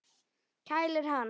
Kælir hann.